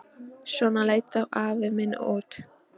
Svona leit þá afi minn út.